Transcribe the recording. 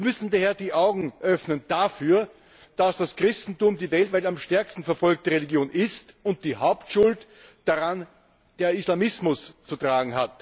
Wir müssen daher dafür die Augen öffnen, dass das Christentum die weltweit am stärksten verfolgte Religion ist und dass die Hauptschuld daran der Islamismus trägt.